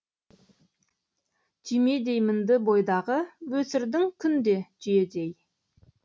түймедей мінді бойдағы өсірдің күнде түйедей